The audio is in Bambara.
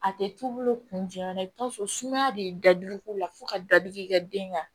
A tɛ t'u bolo kun jumɛn na i bɛ t'a sɔrɔ sumaya de ye dadigi k'u la fo ka dadigi kɛ den kan